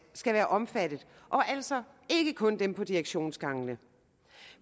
skal være omfattet og altså ikke kun dem på direktionsgangen